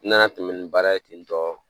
Na tɛmɛ ni baara ye ten tɔ